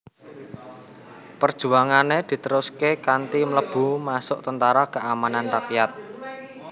Perjuangane diteruske kanthi mlebu masuk Tentara Keamanan Rakyat